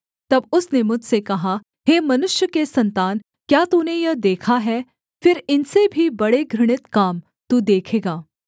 तब उसने मुझसे कहा हे मनुष्य के सन्तान क्या तूने यह देखा है फिर इनसे भी बड़े घृणित काम तू देखेगा